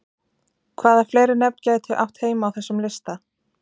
Hvaða fleiri nöfn gætu átt heima á þessum lista?